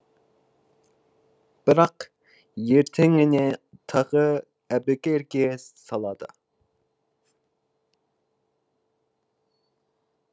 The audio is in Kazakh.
бірақ ертеңіне тағы әбігерге салады